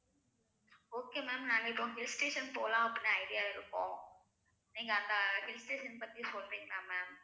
okay ma'am நாங்க இப்பொ hill station போலாம் அப்படின்னு idea ல இருக்கோம் நீங்க அந்த hill station பத்தி சொல்றீங்களா ma'am